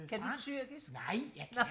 kan du tyrkisk